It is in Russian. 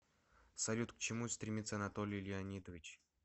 салют к чему стремится анатолий леонидович